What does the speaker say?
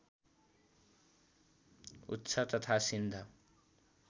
उच्छ तथा सिन्ध